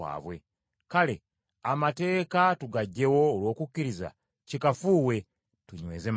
Kale amateeka tugaggyewo olw’okukkiriza? Kikafuuwe. Tunyweza manyweze.